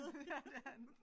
Ja det er han